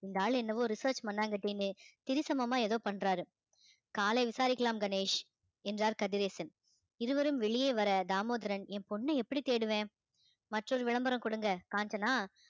இந்த ஆளு என்னவோ research மண்ணாங்கட்டின்னு சமமா ஏதோ பண்றாரு காலை விசாரிக்கலாம் கணேஷ் என்றார் கதிரேசன் இருவரும் வெளியே வர தாமோதரன் என் பொண்ண எப்படி தேடுவேன் மற்றொரு விளம்பரம் கொடுங்க காஞ்சனா